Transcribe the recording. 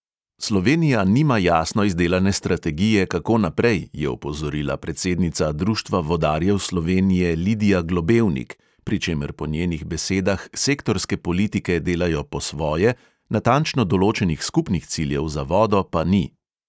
"Slovenija nima jasno izdelane strategije, kako naprej," je opozorila predsednica društva vodarjev slovenije lidija globevnik, pri čemer po njenih besedah "sektorske politike delajo po svoje, natančno določenih skupnih ciljev za vodo pa ni".